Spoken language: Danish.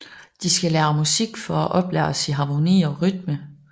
De skal lære musik for at oplæres i harmoni og rytme